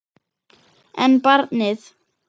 En barnið?